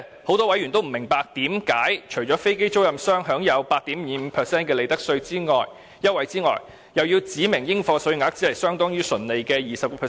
很多委員也不明白，為何飛機租賃商除可享有 8.25% 的利得稅優惠外，還要指明應課稅額相當於純利的 20%？